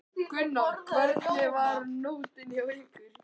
Gunnar: Hvernig var nóttin hjá ykkur?